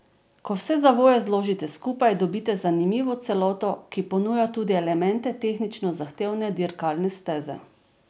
Ko vse zavoje zložite skupaj, dobite zanimivo celoto, ki ponuja tudi elemente tehnično zahtevne dirkalne steze.